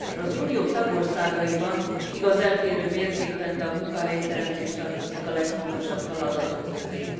Először az Unió tagországaiban, igaz eltérő mértékben, de a munkahelyteremtés tartozik a legfontosabb feladatok közé.